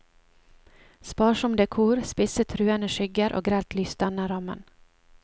Sparsom dekor, spisse truende skygger og grelt lys danner rammen.